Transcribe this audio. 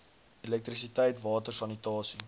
elektrisiteit water sanitasie